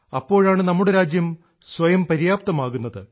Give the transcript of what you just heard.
അപ്പോഴാണ് നമ്മുടെ രാജ്യം സ്വയം പര്യാപ്തമാകുന്നത്